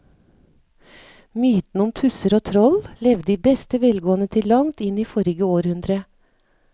Mytene om tusser og troll levde i beste velgående til langt inn i forrige århundre.